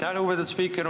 Aitäh, lugupeetud spiiker!